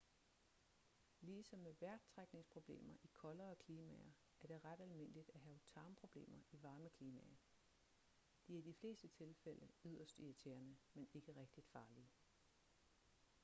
ligesom med vejrtrækningsproblemer i koldere klimaer er det ret almindeligt at have tarmproblemer i varme klimaer de er i de fleste tilfælde yderst irriterende men ikke rigtigt farlige